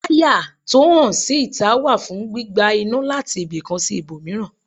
Wáyà tó hàn sí ìtà wà fún gbígba iná láti ibìkan sí ibòmíràn.